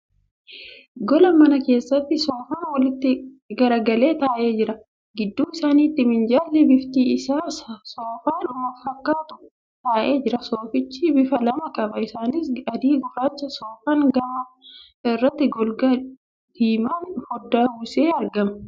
Gola manaa keessatti soofaan walitti garagalee taa'ee jira. Gidduu isaanitti minjaalli bifti isaa soofadhuma fakkaatu taa'ee jira. Soofichi bifa lama qaba. Isaanis adii fi gurraacha. Soofaan gama irratti golgaa diimaan fooddaa uwwisee argama.